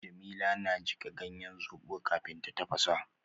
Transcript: Jamila na jika ganyen zobo kafin ta tafasa